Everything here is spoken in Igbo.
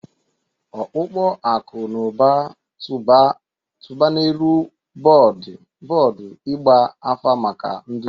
Ọkpụkpọ akụ na ụba, tụba n'elu bọọdụ ịgba afa maka nduzi.